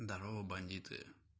здарова бандиты